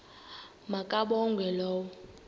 ma kabongwe low